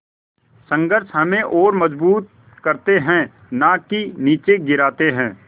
संघर्ष हमें और मजबूत करते हैं नाकि निचे गिराते हैं